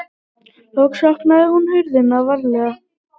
Loks opnaði hún hurðina varlega.